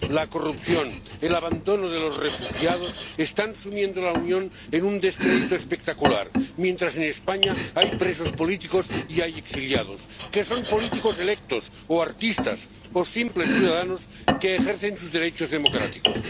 La corrupción, el abandono de los refugiados están sumiendo a la Unión en un descrédito espectacular, mientras en España hay presos políticos y hay exiliados que son políticos electos o artistas o simples ciudadanos que ejercen sus derechos democráticos.